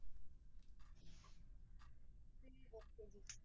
ਤੁਸੀਂ ਦੱਸੋ ਜੀ